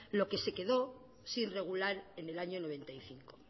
lo que se quedó sin regular en el año mil novecientos noventa y cinco